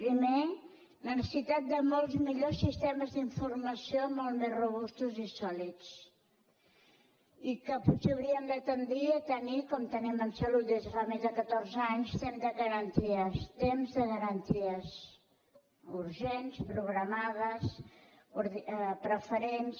primer la necessitat de molt millors sistemes d’informació molt més robustos i sòlids i que potser hauríem de tendir a tenir com tenim en salut des de fa més de catorze anys temps de garanties temps de garanties urgents programades preferents